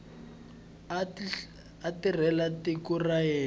a tirhela tiko ra yena